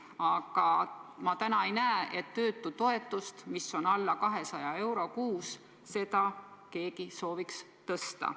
Aga ma ei näe, et töötutoetust, mis on alla 200 euro kuus, keegi sooviks tõsta.